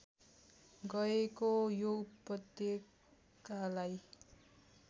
गएको यो उपत्यकालाई